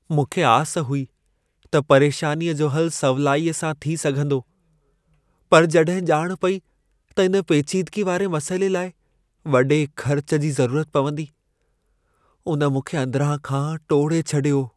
मूंखे आस हुई त परेशानीअ जो हलु सवलाईअ सां थी सघंदो। पर जॾहिं ॼाण पेई त इन पेचीदगी वारे मसइले लाइ वॾे ख़र्च जी ज़रूरत पवंदी, उन मूंखे अंदिरां खां टोड़े छॾियो।